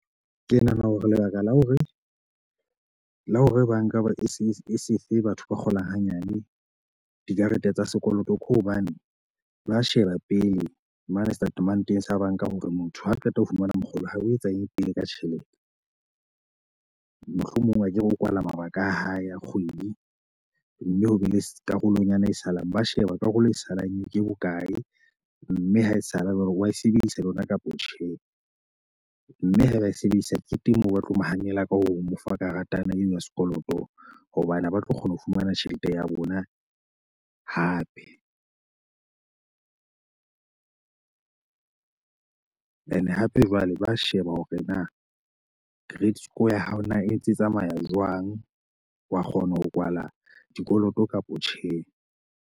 Ke nahana hore lebaka la hore la hore banka ba e se e se fe batho ba kgolang hanyane dikarete tsa sekoloto ke hobane ba sheba pele mane setatementeng sa banka. Hore motho ha re qeta ho fumana mokgolo ha o etsa eng pele ka tjhelete. Mohlomong akere o kwala mabaka a hae a kgwedi, mme ho be le karolonyana e salang. Ba sheba karolo e salang ye ke bokae mme ha e sala wane wa e sebedisa le yona kapa tjhe mme ha e ba a e sebedisa e teng moo ba tlo mo hanela laka ho mo fa karata eo ya sekoloto hobane ha ba tlo kgona ho fumana tjhelete ya bona hape. Ene hape jwale ba sheba hore na credit score ya hao na e ntse tsamaya jwang. Wa kgona ho kwala dikoloto kapa tjhe.